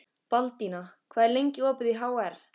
Baldína, hvað er lengi opið í HR?